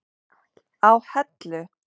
á Hellu.